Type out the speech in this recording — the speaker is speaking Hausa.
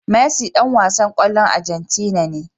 Messi Dan wasan kwallon agentina ne